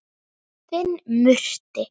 Þinn Murti.